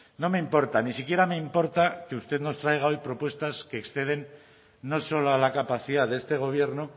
no me importa ni siquiera me importa que usted nos traiga hoy propuestas que exceden no solo a la capacidad de este gobierno